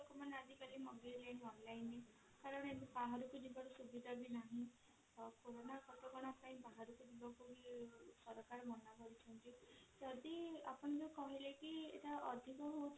ଲୋକମାନେ ଆଜି କାଲି ମଗେଇଲେଣି online ରେ କାରଣ ଏବେ ବାହାରକୁ ଯିବାର ସୁବିଧା ବି ନାହିଁ ଆଉ କରୋନା କଟକଣା ପାଇଁ ବାହାରକୁ ଯିବାକୁ ବି ସରକାର ମନା କରିଛନ୍ତି ଯଦି ଆପଣ ଯଉ କହିଲେ କି ଏଟା ଅଧିକ ହଉଛି